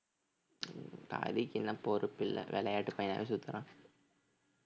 ஹரிக்கு இன்னும் பொறுப்பில்லை விளையாட்டு பையனாவே சுத்துறான்